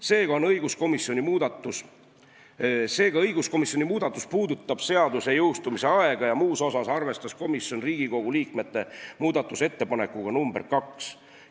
Seega, õiguskomisjoni muudatus puudutab seaduse jõustumise aega ja muus osas arvestas komisjon Riigikogu liikmete muudatusettepanekut nr 2.